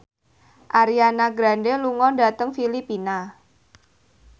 Ariana Grande lunga dhateng Filipina